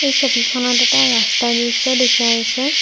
এই ছবিখনত এটা ৰাস্তাৰ দৃশ্য দেখুওৱা হৈছে।